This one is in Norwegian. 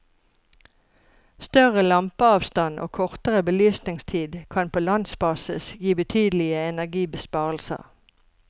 Større lampeavstand og kortere belysningstid kan på landsbasis gi betydelige energibesparelser.